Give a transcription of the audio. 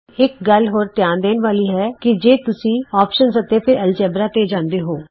ਇਕ ਗੱਲ ਹੋਰ ਧਿਆਨ ਦੇਣ ਵਾਲੀ ਹੈ ਕਿ ਜੇ ਤੁਸੀਂ ਅੋਪਸ਼ਨ ਅਤੇ ਫਿਰ ਐਲਜੇਬਰਾ ਤੇ ਜਾਂਦੇ ਹੋ